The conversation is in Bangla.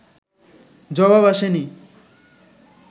জবাব আসে নি